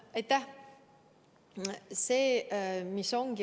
Aitäh!